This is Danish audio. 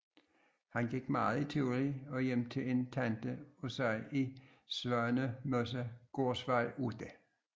Han gik meget i Tivoli og hjem til en tante af sig i Svanemosegårdvej 8